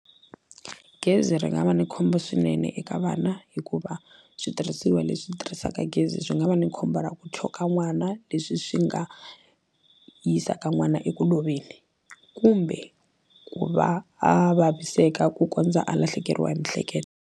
Gezi ri nga va ni khombo swinene eka vana hikuva switirhisiwa leswi tirhisaka gezi swi nga va ni khombo ra ku choka n'wana leswi swi nga yisaka n'wana eku loveni kumbe ku va a vaviseka ku kondza a lahlekeriwa hi mihleketo.